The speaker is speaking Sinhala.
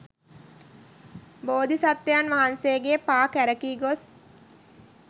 බෝධි සත්වයන් වහන්සේගේ පා කැරකී ගොස්